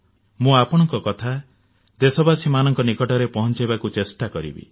ମୁଁ ଆପଣଙ୍କ କଥା ଦେଶବାସୀମାନଙ୍କ ନିକଟରେ ପହଁଚାଇବାକୁ ଚେଷ୍ଟା କରିବି